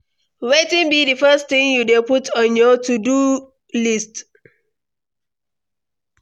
Wetin be di first thing you dey put on your to-do list?